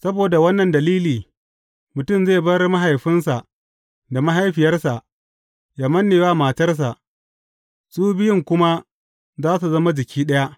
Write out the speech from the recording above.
Saboda wannan dalili, mutum zai bar mahaifinsa da mahaifiyarsa, yă manne wa matarsa, su biyun kuma za su zama jiki ɗaya.’